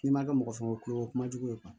N'i ma kɛ mɔgɔ fɛn o ko ye o ye kuma jugu ye